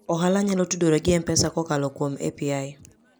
Ohala nyalo tudore gi M-Pesa kokalo kuom API.